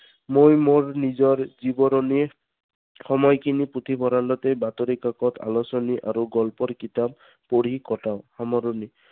মোৰ মোৰ নিজৰ জীৱৰনীয়ে সময় খিনি পুথিভঁৰালতে বাতৰি কাকত, আলোচনী আৰু গল্পৰ কিতাপ পঢ়ি কটাওঁ সামৰণি।